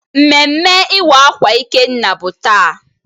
Mmeme iwa akwa Ịkenna bu taa.